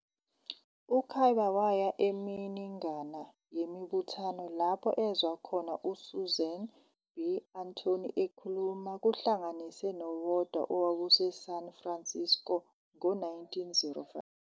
U-Kibbe waya eminingana yemibuthano lapho ezwa khona uSusan B. Anthony ekhuluma kuhlanganise nowodwa owawuseSan Francisco ngo-1905.